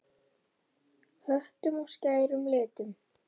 Höttum og skærum litum.